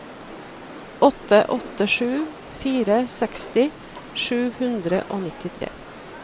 åtte åtte sju fire seksti sju hundre og nittitre